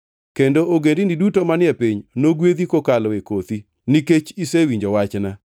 kendo ogendini duto manie piny nogwedhi kokalo e kothi, nikech isewinjo wachna.”